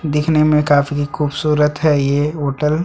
देखने में काफी खूबसूरत है ये होटल --